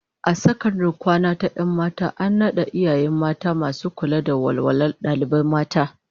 A sakandaren kwana ta 'yan mata an nada iyaye mata masu kula da walwalar dalibai mata